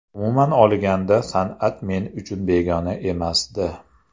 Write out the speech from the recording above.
Umuman olganda, san’at men uchun begona emasdi.